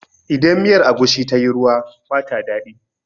Idan miyar agushi tayi ruwa ba ta daɗi